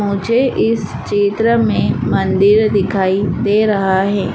मुझे इस चित्र में मंदिर दिखाई दे रहा है।